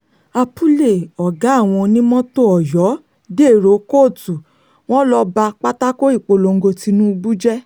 apuley ọ̀gá àwọn onímọ́tò ọ̀yọ́ dèrò kóòtù wọn ló ba pátákó ìpolongo tìnùbù jẹ́